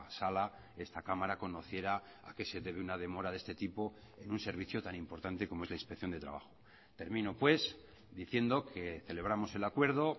sala esta cámara conociera a qué se debe una demora de este tipo en un servicio tan importante como es la inspección de trabajo termino pues diciendo que celebramos el acuerdo